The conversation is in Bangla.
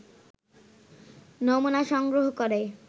নমুনা সংগ্রহ করে